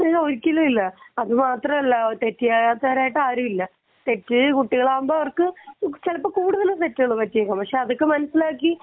ഇല്ല ഒരിക്കലും ഇല്ല അത് മാത്രമല്ല തെറ്റ് ചെയ്യാത്തതായിട്ടു ആരും ഇല്ല . തെറ്റ് കുട്ടികൾ ആവുമ്പോൾ ചിലപ്പോൾ അവർക്ക് കൂടുതൽ തെറ്റുകൾ പറ്റിയേക്കും അപ്പൊ അതൊക്കെ മനസ്സിലാക്കി